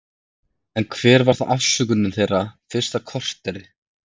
En hver var þá afsökunin þeirra fyrsta korterið?